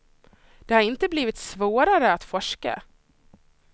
Det har inte blivit svårare att forska.